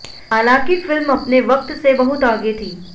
हालांकि फिल्म अपने वक्त से बहुत आगे थी